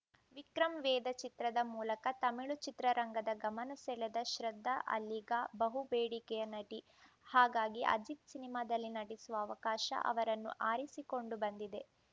ವಿಕ್ರಂ ವೇದ ಚಿತ್ರದ ಮೂಲಕ ತಮಿಳು ಚಿತ್ರರಂಗದ ಗಮನ ಸೆಳೆದ ಶ್ರದ್ಧಾ ಅಲ್ಲೀಗ ಬಹು ಬೇಡಿಕೆಯ ನಟಿ ಹಾಗಾಗಿಯೇ ಅಜಿತ್‌ ಸಿನಿಮಾದಲ್ಲಿ ನಟಿಸುವ ಅವಕಾಶ ಅವರನ್ನು ಅರಸಿಕೊಂಡು ಬಂದಿದೆ